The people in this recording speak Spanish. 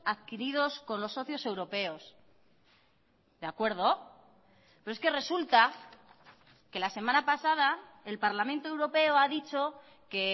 adquiridos con los socios europeos de acuerdo pero es que resulta que la semana pasada el parlamento europeo ha dicho que